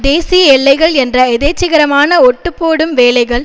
தேசிய எல்லைகள் என்ற எதேச்சதிகாரமான ஒட்டுப்போடும் வேலைகள்